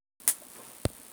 Kwa bir lakwet ne korom